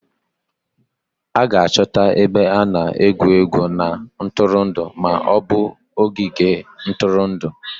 A ga-achọta ebe a na-egwu egwuregwu na ntụrụndụ ma ọ bụ ogige ntụrụndụ